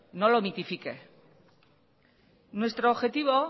no lo mitifique nuestro objetivo